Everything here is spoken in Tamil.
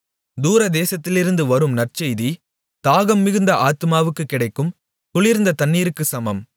தூரதேசத்திலிருந்து வரும் நற்செய்தி தாகம் மிகுந்த ஆத்துமாவுக்குக் கிடைக்கும் குளிர்ந்த தண்ணீருக்குச் சமம்